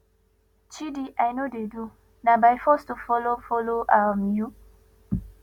chidi i no dey do na by force to follow follow um you